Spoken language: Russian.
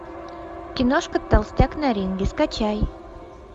киношка толстяк на ринге скачай